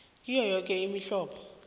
kiyo yoke imihlobo